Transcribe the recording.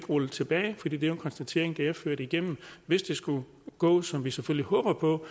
rulle tilbage for det er jo en konstatering at det er ført igennem hvis det skulle gå som vi selvfølgelig håber på